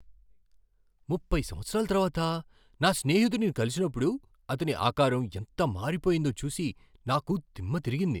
ముప్పై సంవత్సరాల తర్వాత నా స్నేహితుడిని కలిసినప్పుడు అతని ఆకారం ఎంత మారిపోయిందో చూసి నాకు దిమ్మ తిరిగింది.